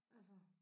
Altså